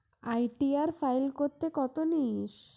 ITR file করতে কত নিস?